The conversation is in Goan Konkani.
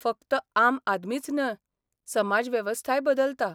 फक्त 'आम आदमीच न्ह' समाजवेवस्थाय बदलता.